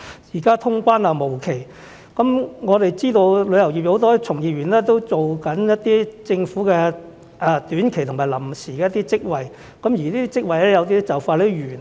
現在通關無期，我們知道有很多旅遊業從業員都正在做一些政府短期及臨時職位，而有些職位很快便完結。